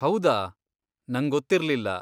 ಹೌದಾ! ನಂಗೊತ್ತಿರ್ಲಿಲ್ಲ.